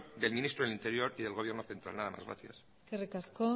del ministro del interior y del gobierno central nada más gracias eskerrik asko